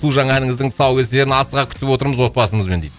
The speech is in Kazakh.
су жаңа әніңіздің тұсаукесерін асыға күтіп отырмыз отбасымызбен дейді